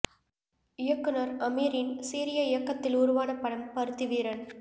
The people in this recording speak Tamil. இயக்குநர் அமீரின் சீரிய இயக்கத்தில் உருவான படம் பருத்தி வீரன்